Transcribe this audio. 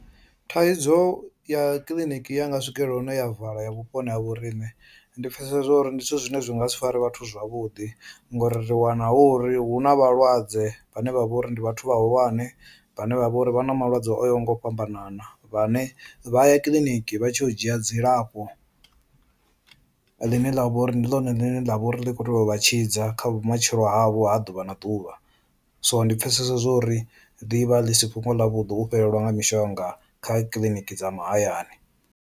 Thaidzo ya kiḽiniki ya nga swikelela hune ya vala ya vhuponi ha vhoriṋe ndi pfhesesa zwori ndi zwithu zwine zwi nga si fari vhathu zwavhuḓi ngori ri wana hu uri hu na vhalwadze vhane vha vha uri ndi vhathu vhahulwane vhane vha vha uri vha na malwadze o yaho nga u fhambanana, vhane vha ya kiḽiniki vha tshi yo u dzhia dzilafho ḽine ḽa vha uri ndi ḽone ḽine ḽa vha uri ḽi kho tea uvha tshidza kha vhumatshelo havho ha ḓuvha na ḓuvha, so ndi pfhesesa zwori ḽivha ḽi si fhungo ḽa vhuḓi u fhelelwa nga mishonga kha kiḽiniki dza mahayani.